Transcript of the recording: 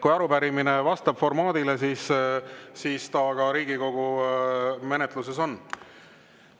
Kui arupärimine vastab formaadile, siis ta ka Riigikogu menetluses on.